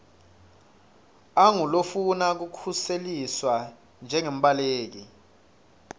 angulofuna kukhuseliswa njengembaleki